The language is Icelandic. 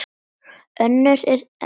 Önnur eru enn týnd.